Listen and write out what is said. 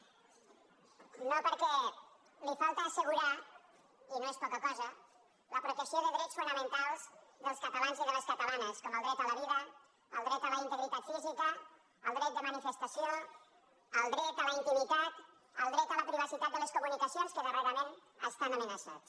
no perquè li falta assegurar i no és poca cosa la protecció de drets fonamentals dels catalans i de les catalanes com el dret a la vida el dret a la integritat física el dret de manifestació el dret a la intimitat el dret a la privacitat de les comunicacions que darrerament estan amenaçats